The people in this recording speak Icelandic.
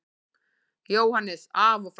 JÓHANNES: Af og frá!